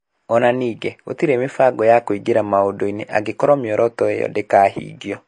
O na ningĩ gũtirĩ mĩbango ya kũingĩra maũndũ-inĩ angĩkorũo mĩoroto ĩyo ndĩkahingio.